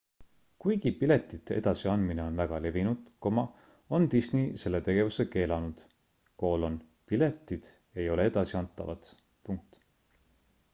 kuigi piletite edasi andmine on väga levinud on disney selle tegevuse keelanud piletid ei ole edasi antavad